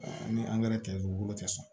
Ni tɛ u bolo tɛ sɔn